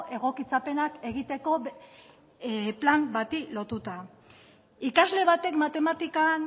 egokitzapenak egiteko plan bati lotuta ikasle batek matematikan